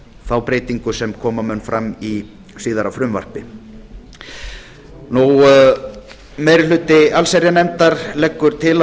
þá breytingu sem koma mun fram í síðara frumvarpi meiri hluti allsherjarnefndar leggur til að